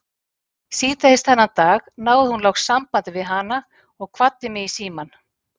Síðdegis þennan dag náði hún loks sambandi við hana og kvaddi mig í símann.